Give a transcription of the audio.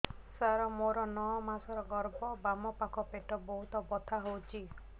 ସାର ମୋର ନଅ ମାସ ଗର୍ଭ ବାମପାଖ ପେଟ ବହୁତ ବଥା ହଉଚି